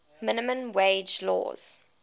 minimum wage laws